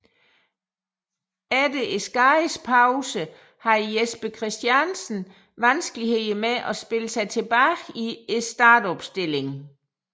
Efter skadespausen havde Jesper Christiansen vanskeligheder med at spille sig tilbage i startopstillingen